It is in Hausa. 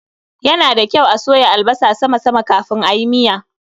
Ya na da kyau a soya albasa sama sama kafin ayi miya.